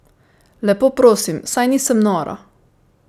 Lepo prosim, saj nisem nora!